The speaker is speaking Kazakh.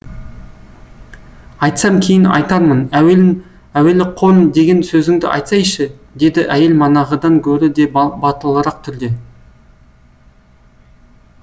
айтсам кейін айтармын әуелі қон деген сөзіңді айтсайшы деді әйел манағыдан көрі де батылырақ түрде